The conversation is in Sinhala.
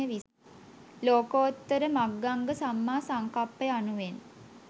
ලෝකෝත්තර මග්ගංග සම්මා සංකප්ප යනුවෙන්